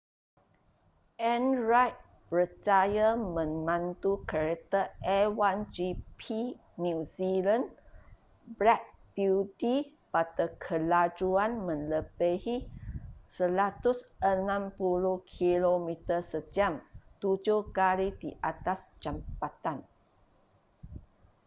en reid berjaya memandu kereta a1gp new zealand black beauty pada kelajuan melebihi 160km/j tujuh kali di atas jambatan